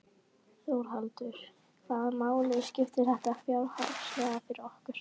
Þórhallur: Hvaða máli skiptir þetta fjárhagslega fyrir okkur?